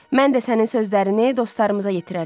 Mən də sənin sözlərini dostlarımıza yetirərəm.